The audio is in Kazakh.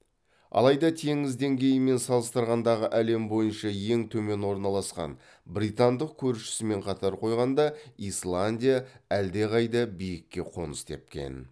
алайда теңіз деңгейімен салыстырғандағы әлем бойынша ең төмен орналасқан британдық көршісімен қатар қойғанда исландия әлдеқайда биікке қоныс тепкен